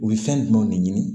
U bɛ fɛn jumɛnw de ɲini